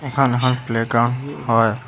এইখন এখন playground হয়।